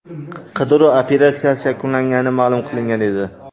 Qidiruv operatsiyasi yakunlangani ma’lum qilingan edi .